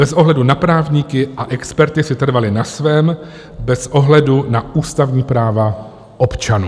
Bez ohledu na právníky, a experti si trvali na svém, bez ohledu na ústavní práva občanů.